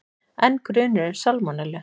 Enn grunur um salmonellu